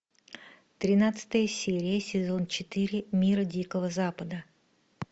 тринадцатая серия сезон четыре мир дикого запада